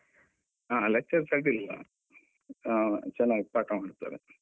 ಆ lectures ಅಡ್ಡಿಯಿಲ್ಲ ಹ ಚೆನ್ನಾಗಿ ಪಾಠ ಮಾಡ್ತಾರೆ.